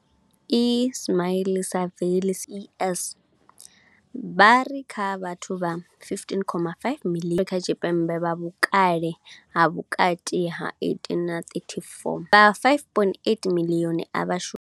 Ismail-Saville CEO wa YES, vha ri kha vhathu vha 15.5 miḽioni Afrika Tshipembe vha vhukale ha vhukati ha 18 na 34, vha 5.8 miḽioni a vha shumi.